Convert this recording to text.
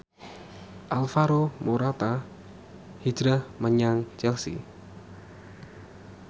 Alvaro Morata hijrah menyang Chelsea